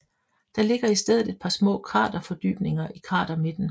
Der ligger i stedet et par små kraterfordybninger i kratermidten